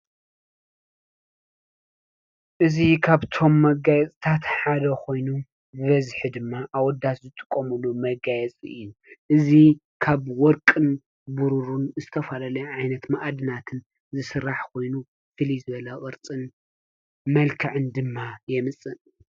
እዚ ካብቶም መጋየፂታት ሓደ ኮይኑ ብበዝሒ ድማ አወዳት ዝጥቀምሉ መጋየፂ እዩ። እዚ ካብ ወርቅን ብሩርን ዝተፈላለየ ዓይነት ማእድናትን ዝስራሕ ኮይኑ ፍልይ ዝበለ ቅርፅን መልክዕን ድማ የምፅእ።